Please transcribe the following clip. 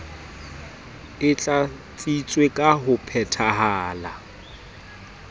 e tlatsitswe ka ho phetahala